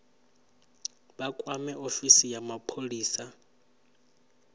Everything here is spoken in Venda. vha kwame ofisi ya mapholisa